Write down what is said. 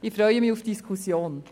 Ich freue mich auf die Diskussion.